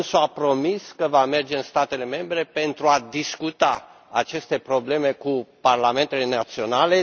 Dânsul a promis că va merge în statele membre pentru a discuta aceste probleme cu parlamentele naționale.